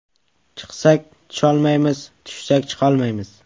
Chiqsak tusholmaymiz, tushsak chiqolmaymiz.